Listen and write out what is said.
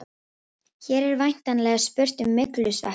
Hér er væntanlega spurt um myglusveppi.